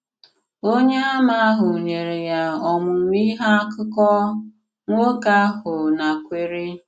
Ònyèàmà ahụ nyere ya ọmụmụ̀ ìhè àkùkọ̀, nwokè ahụ nakwèrè.